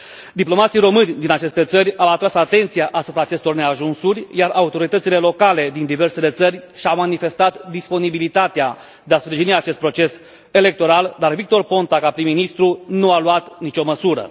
Diplomații români din aceste țări au atras atenția asupra acestor neajunsuri, iar autoritățile locale din diversele țări și au manifestat disponibilitatea de a sprijini acest proces electoral, dar Victor Ponta, ca prim ministru, nu a luat nicio măsură.